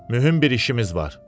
Mühüm bir işimiz var.